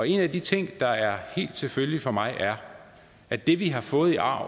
en af de ting der er helt selvfølgelig for mig er at det vi har fået i arv